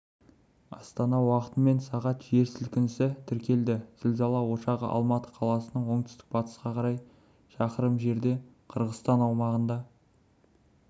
астана уақытымен сағат жер сілкінісі тіркелді зілзала ошағы алматы қаласынан оңтүстік-батысқа қарай шақырым жерде қырғызстан аумағында